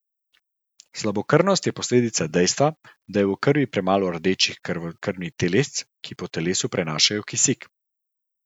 Slabokrvnost je posledica dejstva, da je v krvi premalo rdečih krvnih telesc, ki po telesu prenašajo kisik.